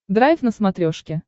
драйв на смотрешке